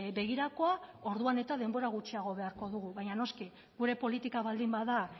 begirakoa orduan eta denbora gutxiago beharko dugu baina noski gure politika baldin bada